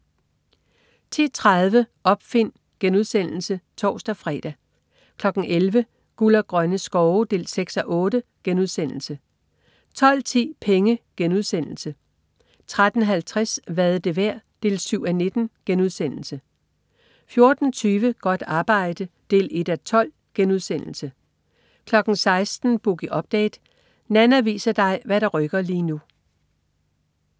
10.30 Opfind* (tors-fre) 11.00 Guld og grønne skove 6:8* 12.10 Penge* 13.50 Hvad er det værd? 7:19* 14.20 Godt arbejde 1:12* 16.00 Boogie Update. Nanna viser dig hvad der rykker lige nu